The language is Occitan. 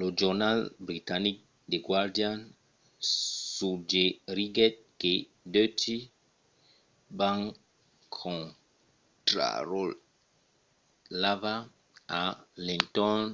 lo jornal britanic the guardian suggeriguèt que deutsche bank contrarotlava a l'entorn